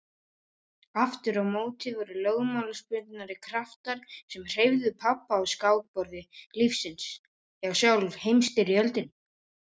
Aftur á móti voru lögmálsbundnari kraftar sem hreyfðu pabba á skákborði lífsins já sjálf Heimsstyrjöldin.